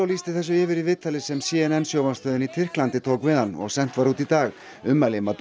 lýsti þessu yfir í viðtali sem c n n sjónvarpsstöðin í Tyrklandi tók við hann og sent var út í dag ummæli